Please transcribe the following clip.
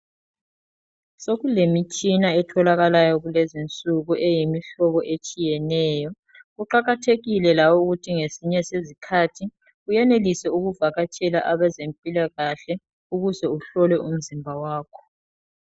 Sokulemitshina etholakalayo kulezinsuku eyimihlobo etshiyeneyo, kuqakathekile lawe ukuthi ngesinye sezikhathi uyenelise ukuvakatshele abezempilakahle ukuze uyehlola umzimba wakho.